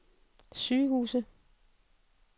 sygehuse